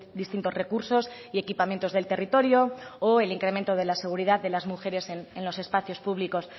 distintos recursos y equipamientos del territorio o el incremento de la seguridad de las mujeres en los espacios públicos